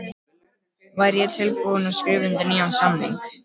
Væri ég tilbúinn til að skrifa undir nýjan samning?